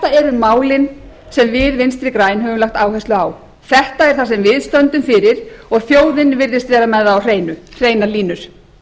þetta eru málin sem við vinstri græn höfum lagt áherslu á þetta er það sem við stöndum fyrir og þjóðin virðist vera með á hreinu hreinar línur